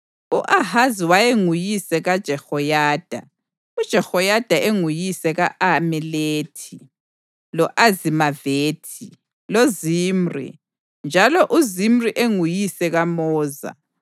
U-Ahazi wayenguyise kaJehoyada, uJehoyada enguyise ka-Alemethi, lo-Azimavethi loZimri, njalo uZimri enguyise kaMoza.